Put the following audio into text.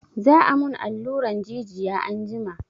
Za a mun alluran jijiya anjima.